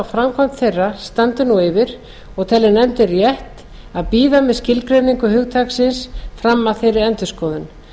framkvæmd þeirra standi nú yfir og telur nefndin rétt að bíða með skilgreiningu hugtaksins fram að þeirri endurskoðun